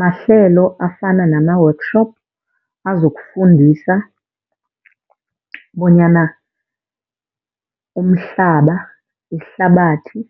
Mahlelo afana nama-workshop azokufundisa bonyana umhlaba, ihlabathi